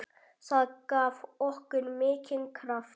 Það gaf okkur mikinn kraft.